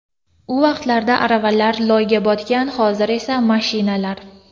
U vaqtlarda aravalar loyga botgan, hozir esa mashinalar.